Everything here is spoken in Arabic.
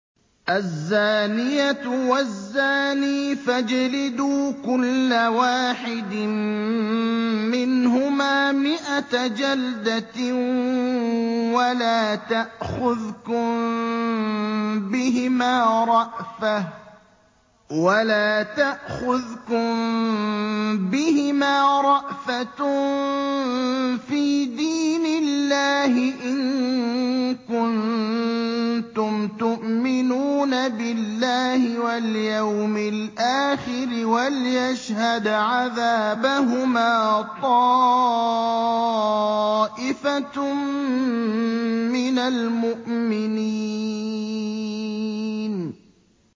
الزَّانِيَةُ وَالزَّانِي فَاجْلِدُوا كُلَّ وَاحِدٍ مِّنْهُمَا مِائَةَ جَلْدَةٍ ۖ وَلَا تَأْخُذْكُم بِهِمَا رَأْفَةٌ فِي دِينِ اللَّهِ إِن كُنتُمْ تُؤْمِنُونَ بِاللَّهِ وَالْيَوْمِ الْآخِرِ ۖ وَلْيَشْهَدْ عَذَابَهُمَا طَائِفَةٌ مِّنَ الْمُؤْمِنِينَ